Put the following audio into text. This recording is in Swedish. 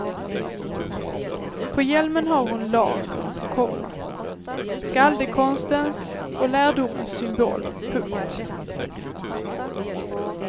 På hjälmen har hon lagern, komma skaldekonstens och lärdomens symbol. punkt